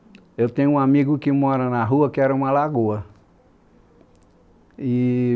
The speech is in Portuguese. eu tenho um amigo que mora na rua, que era uma lagoa, e...